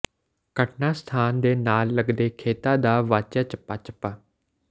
ਘਟਨਾ ਸਥਾਨ ਦੇ ਨਾਲ ਲੱਗਦੇ ਖੇਤਾਂ ਦਾ ਵਾਚਿਆ ਚੱਪਾ ਚੱਪਾ